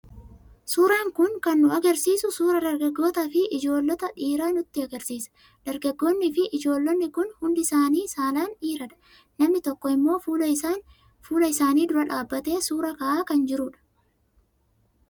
Suuraan kun kan nu argisiisu suuraa dargaggootaa fi ijoollota dhiiraa nutti argisiisa. Dargaggoonnii fi ijoollonni kun hundi isaanii saalaan dhiiradha. namni tokko immoo fuula isaanii dura dhaabbatee suuraa ka'aa kan jirudha.